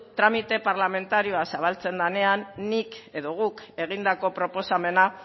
tramite parlamentarioa zabaltzen danean nik edo guk egindako proposamena